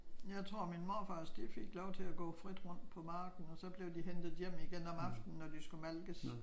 Jeg tror min morfars de fik lov til at gå frit rundt på marken og så blev de hentet hjem igen om aftenen når de skulle malkes